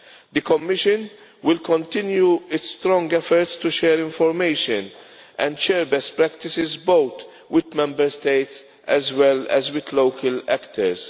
The Commission will continue its strong efforts to share information and share best practices, both with Member States as well as with local actors.